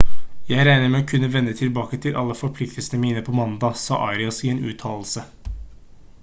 «jeg regner med å kunne vende tilbake til alle forpliktelsene mine på mandag» sa arias i en uttalelse